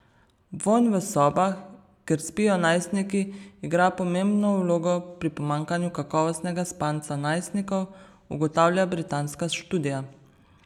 Vonj v sobah, kjer spijo najstniki, igra pomembno vlogo pri pomanjkanju kakovostnega spanca najstnikov, ugotavlja britanska študija.